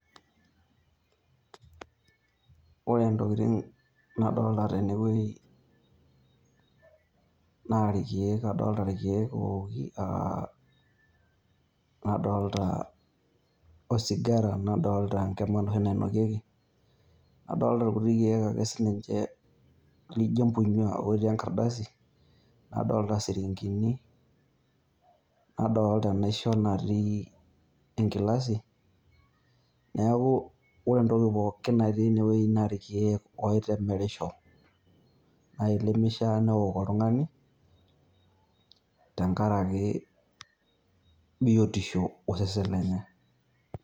Ore entokitin' nadolita tene wueji naa irkiek owoki aa nadaalta osigara nadolita enkima enoshi nainokieki, nadolita irkutik kiek ake sininche ljio embunyua lotii ingardasini, nadoolta enaisho natii engilasi neeku ore entoki pooki natii ene naa irkiek oitemerisho naii lemeifaa neok oltung'ani tengaraki biotisho osesen lenye.